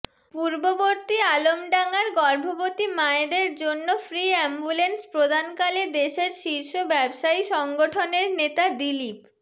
পূর্ববর্তী আলমডাঙ্গার গর্ভবতী মায়েদের জন্য ফ্রি অ্যাম্বুলেন্স প্রদানকালে দেশের শীর্ষ ব্যবসায়ী সংগঠনের নেতা দিলীপ